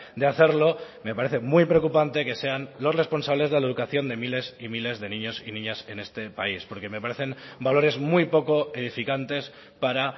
de hacerlo me parece muy preocupante que sean los responsables de la educación de miles y miles de niños y niñas en este país porque me parecen valores muy poco edificantes para